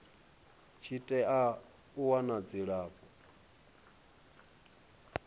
tshi tea u wana dzilafho